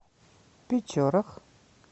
печорах